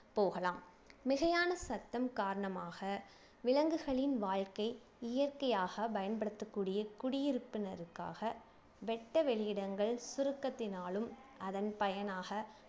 போகலாம் மிகையான சத்தம் காரணமாக விலங்குகளின் வாழ்க்கை இயற்கையாக பயன்படுத்தக்கூடிய குடியிருப்பினருக்காக வெட்ட வெளி இடங்கள் சுருக்கத்தினாலும் அதன் பயனாக